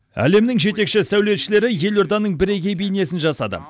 әлемнің жетекші сәулетшілері елорданың бірегей бейнесін жасады